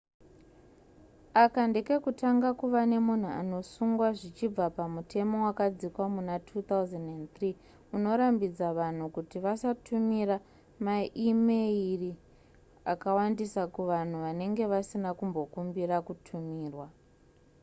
aka ndekekutanga kuva nemunhu anosungwa zvichibva pamutemo wakadzikwa muna 2003 unorambidza vanhu kuti vasatumira maimeyiri akawandisa kuvanhu vanenge vasina kumbokumbira kutumirwa